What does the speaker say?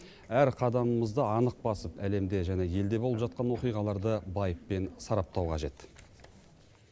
әр қадамымызды анық басып әлемде және елде болып жатқан оқиғаларды байыппен сараптау қажет